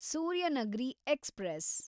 Suryanagri express